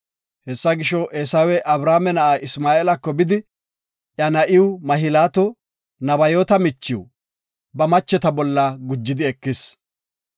Hessa gisho, Eesawey Abrahaame na7a Isma7eelako bidi, iya na7iw Mahlaato, Nebayoota michiw, ba macheta bolla gujidi ekis.